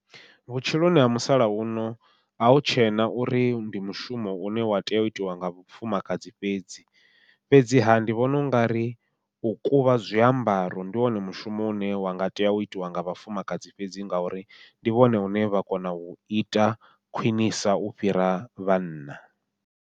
Vhutshiloni ha musalauno ahu tshena uri ndi mushumo une wa tea u itiwa nga vhafumakadzi fhedzi, fhedziha ndi vhona ungari u kuvha zwiambaro ndi wone mushumo une wa nga tea u itiwa nga vhafumakadzi fhedzi, ngauri ndi vhone vhune vha kona uita khwiṋisa u fhira vhanna.